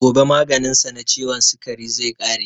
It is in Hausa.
Gobe maganin sa na ciwon sikari zai ƙare.